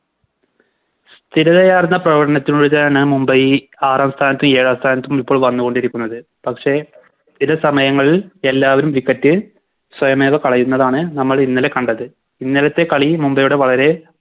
സ്ഥിരതയാർന്ന പ്രവടനത്തിലൂതയാണ് മുംബൈ ആറാം സ്ഥാനത്തും ഏഴാം സ്ഥാനത്തും ഇപ്പോൾ വന്നുകൊണ്ടിരിക്കുന്നത് പക്ഷെ ചില സമയങ്ങളിൽ എല്ലാവരും Wicket സ്വയമേവ കളയുന്നതാണ് നമ്മളിന്നലെ കണ്ടത് ഇന്നലത്തെ കളി മുംബൈയുടെ വളരെ